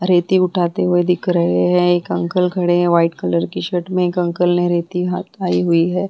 रेती उठाते हुए दिख रहे है एक अंकल खड़े है वाइट कलर की शर्ट में एक अंकल ने रेती हाथ उठाई हुई है।